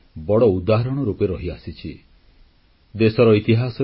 ଏହି ପର୍ବ ଶହ ଶହ ବର୍ଷଧରି ସାମାଜିକ ସୌହାର୍ଦ୍ଦ୍ୟର ମଧ୍ୟ ଗୋଟିଏ ବଡ଼ ଉଦାହରଣ ରୂପେ ରହିଆସିଛି